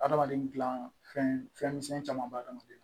Adamaden gilan fɛn fɛn misɛn caman baden na